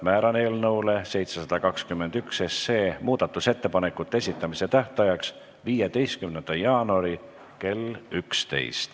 Määran eelnõu 721 muudatusettepanekute esitamise tähtajaks 15. jaanuari kell 11.